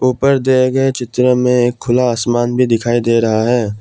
ऊपर दिए गए चित्र में खुला आसमान भी दिखाई दे रहा है।